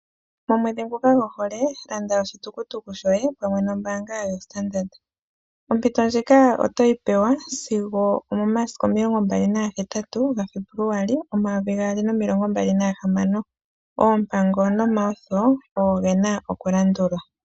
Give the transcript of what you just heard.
Momwedhi ngoka gohole landa oshitukutuku shoye pamwe nombaanga yoStandard Bank . Ompito ndjika otoyi pewa momasiku 28 Febuluali 2026. Oompango nomalandulathano ogo gena okulandulwa.